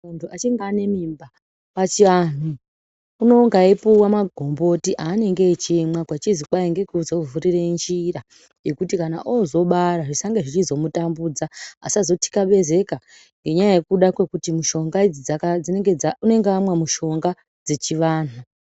Muntu achinge anemimba pachiantu unonga eipiwa magomboti anenge echimwa kwechizwi kwaingekuvhurire njira yekuti kana ozobara zvisangezveizomutambudza asazothlabezeka ngenyaya yekuda kwekuti unonge amwa mishonga dzechivantu.